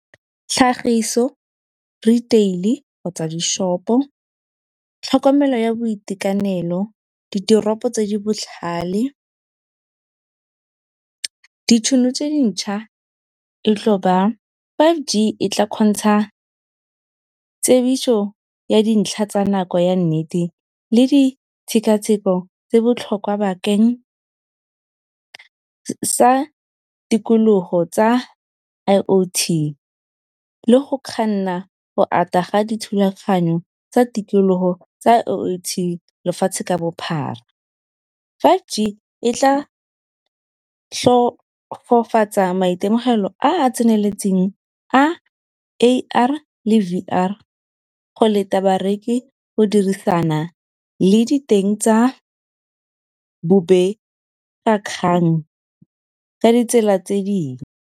Tlhagiso retail kgotsa di-shop-o tlhokomelo ya boitekanelo, ditoropo tse di botlhale, ditšhono tse dintšha e tlo ba five G, e tla kgontsha tsebiso ya dintlha tsa nako ya nnete le di tshekatsheko tse botlhokwa bakeng sa tikologo tsa I_o_T. Le go kganna go ata ga dithulaganyo tsa tikologo tsa I_o_T lefatshe ka bophara. Five G e tla maitemogelo a a tseneletseng a A_R le V_R, go leta bareki go dirisana le diteng tsa bobegakgang ka ditsela tse dingwe.